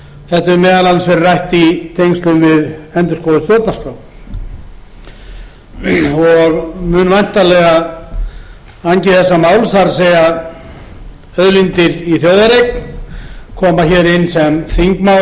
þetta hefur meðal annars verið rætt í tengslum við endurskoðun stjórnarskrár og mun væntanlega angi þessa máls það er auðlindir í þjóðareign koma